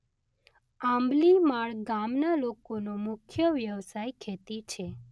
આંબલીમાળ ગામના લોકોનો મુખ્ય વ્યવસાય ખેતી છે